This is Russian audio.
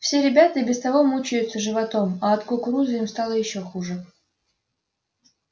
все ребята и без того мучаются животом а от кукурузы им стало ещё хуже